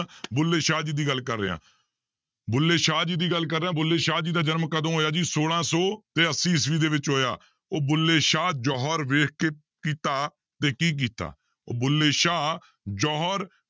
ਬੁੱਲੇ ਸ਼ਾਹ ਜੀ ਦੀ ਗੱਲ ਕਰ ਰਿਹਾਂ, ਬੁੱਲੇ ਸ਼ਾਹ ਜੀ ਦੀ ਗੱਲ ਕਰ ਰਿਹਾਂ ਬੁੱਲੇ ਸ਼ਾਹ ਜੀ ਦਾ ਜਨਮ ਕਦੋਂ ਹੋਇਆ ਜੀ, ਛੋਲਾਂ ਸੌ ਤੇ ਅੱਸੀ ਈਸਵੀ ਦੇ ਵਿੱਚ ਹੋਇਆ ਉਹ ਬੁੱਲੇ ਸ਼ਾਹ ਜੋਹਰ ਵੇਖ ਕੇ ਕੀਤਾ ਤੇ ਕੀਤਾ ਉਹ ਬੁੱਲੇ ਸ਼ਾਹ ਜੋਹਰ